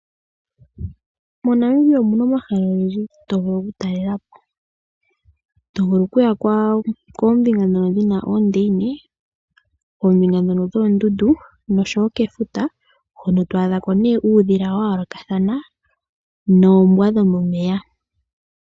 MoNamibia omu na omahala ogendji to vulu oku talela po. To vulu oku ya koombinga nawa dhi na oondeyine, koombinga ndhono dhoondundu nosho wo kefuta, hono to adha ko ne uudhila wa yoolokathana, noombwa dho momeya